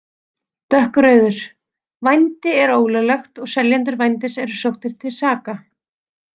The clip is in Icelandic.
Dökkrauður: Vændi er ólöglegt og seljendur vændis eru sóttir til saka.